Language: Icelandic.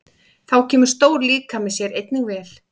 Þá kemur stór líkami sér einnig vel.